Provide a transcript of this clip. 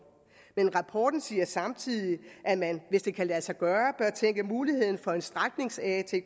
men rapporten siger samtidig at man hvis det kan lade sig gøre bør tænke på muligheden for en stræknings atk i